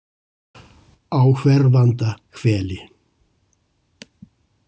Á hverfanda hveli